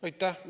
Aitäh!